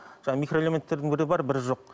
жаңағы микроэлеметтердің бірі бар бірі жоқ